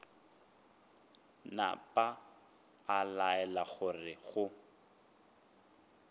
napa a laela gore go